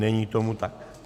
Není tomu tak.